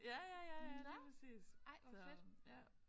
Ja ja ja ja lige præcis så ja